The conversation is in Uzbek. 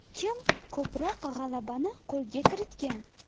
Kim ko‘proq g‘alabani qo‘lga kiritgan?